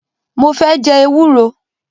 Mo fẹ́ jẹ ewúro